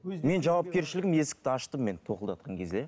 мен жауапкершілігім есікті аштым мен тоқылдатқан кезде